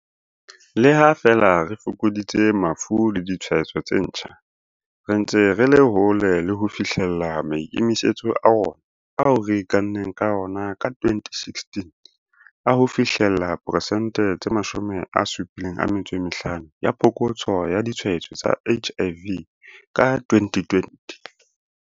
Le ha feela re fokoditse mafu le ditshwaetso tse ntjha, re ntse re le hole le ho fihlella maikemisetso a rona ao re ikanneng ka ona ka 2016 a ho fihlella 75 percent ya phokotso ya ditshwaetso tsa HIV ka 2020.